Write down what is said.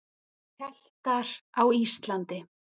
Keltar á Íslandi.